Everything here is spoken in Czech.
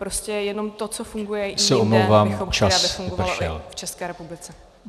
Prostě jenom to, co funguje i jinde , bychom chtěli, aby fungovalo i v České republice.